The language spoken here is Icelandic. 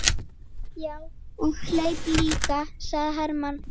Já, og hleyp líka, sagði Hermann.